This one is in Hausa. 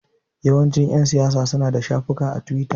Yawancin ƴan siyasa suna da shafukan a tiwita.